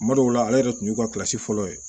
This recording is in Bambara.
Kuma dɔw la ale yɛrɛ tun y'u ka fɔlɔ ye